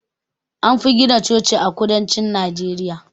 Anfi gina Chochi a kudancin Najeriya